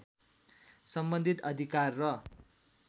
सम्बन्धित अधिकार र